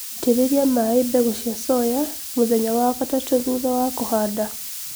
itirĩlia maĩĩ mbegũ cia soya mũthenya wa gatatũ thutha wa kũhanda